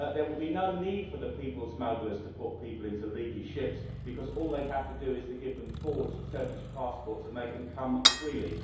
There will be no need for the people smugglers to put people into leaky ships, because all they will have to do is to give them forged Turkish passports and they can come freely.